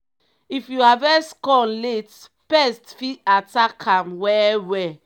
if you harvest corn late pest fit attack am well well.